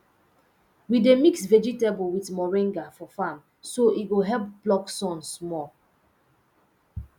we dey mix vegetable with moringa for farm so e go help block sun small